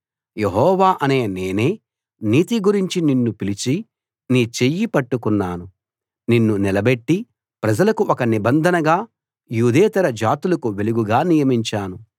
యెహోవా అనే నేనే నీతి గురించి నిన్ను పిలిచి నీ చెయ్యి పట్టుకున్నాను నిన్ను నిలబెట్టి ప్రజలకు ఒక నిబంధనగా యూదేతర జాతులకు వెలుగుగా నియమించాను